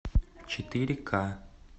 четыре ка